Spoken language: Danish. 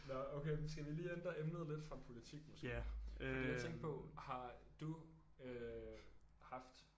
Nåh okay men skal vi lige ændre emnet lidt fra politik måske fordi jeg tænkte på har du øh haft